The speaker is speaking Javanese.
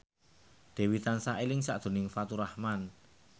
Dewi tansah eling sakjroning Faturrahman